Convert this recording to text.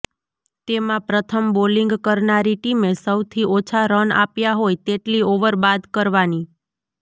તેમાં પ્રથમ બોલિંગ કરનારી ટીમે સૌથી ઓછા રન આપ્યા હોય તેટલી ઓવર બાદ કરવાની